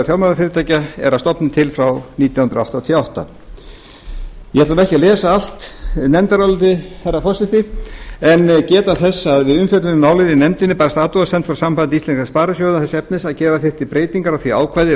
fjármálafyrirtækja er að stofni til frá nítján hundruð áttatíu og átta ég ætla ekki að lesa allt nefndarálitið herra forseti en geta þess að við umfjöllun um málið í nefndinni barst athugasemd frá sambandi íslenskra sparisjóða þess efnis að gera þyrfti breytingar á því ákvæði